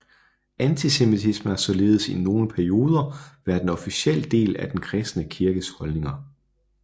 Antisemitisme har således i nogle perioder været en officiel del af den kristne kirkes holdninger